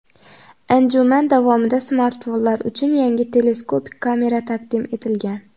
Anjuman davomida smartfonlar uchun yangi teleskopik kamera taqdim etilgan.